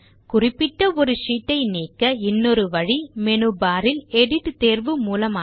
குறிப்பிட்ட ஒரு ஷீட் ஐ நீக்க இன்னொரு வழி மேனு பார் இல் எடிட் தேர்வு மூலமாக